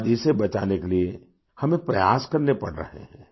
आज इसे बचाने के लिए हमें प्रयास करने पड़ रहे हैं